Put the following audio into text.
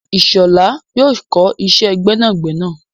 Ishola yóò kọ iṣẹ́ gbẹ́nàgbẹnà.